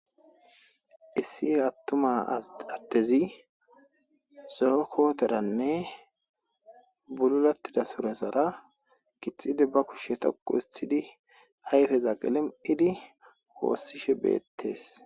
Issi attuma adezi zo'o koterane bulatida surezara githidi be ayfeza qilimi'idi wosishebetes